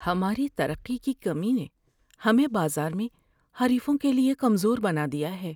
ہماری ترقی کی کمی نے ہمیں بازار میں حریفوں کے لیے کمزور بنا دیا ہے۔